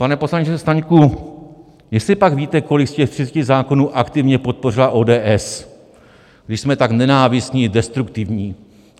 Pane poslanče Staňku, jestlipak víte, kolik z těch 30 zákonů aktivně podpořila ODS, když jsme tak nenávistní a destruktivní?